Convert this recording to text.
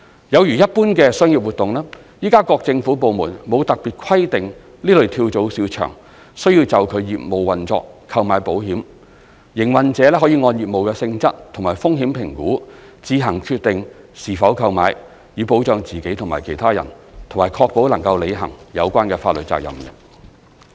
有如一般的商業活動，現時各政府部門沒有特別規定此類跳蚤市場須就其業務運作購買保險，營運者可按業務性質及風險評估自行決定是否購買，以保障自己及其他人，以及確保能履行有關法律責任。